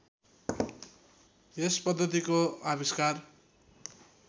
यस पद्धतिको आविष्कार